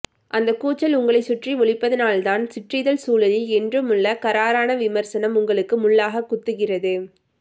அந்தக்கூச்சல் உங்களைச் சுற்றி ஒலிப்பதனால்தான் சிற்றிதழ்ச்சூழலில் என்றுமுள்ள கறாரான விமர்சனம் உங்களுக்கு முள்ளாக குத்துகிறது